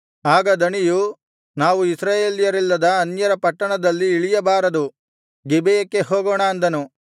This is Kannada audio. ಆಗ ದಣಿಯು ನಾವು ಇಸ್ರಾಯೇಲ್ಯರಿಲ್ಲದ ಅನ್ಯರ ಪಟ್ಟಣದಲ್ಲಿ ಇಳಿಯಬಾರದು ಗಿಬೆಯಕ್ಕೆ ಹೋಗೋಣ ಅಂದನು